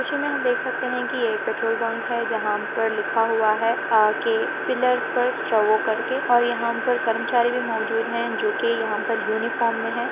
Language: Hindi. दृश्य मैं हम देख सकते है |की एक पेट्रोल पंप है जहाँ पर लिखा हुआ है अ के पिल्लर्स पर श्ट्रो वो कर के और यहाँ पर करमचारी भी मोजूद है | जो की यहाँ पर यूनीफार्म मैं है।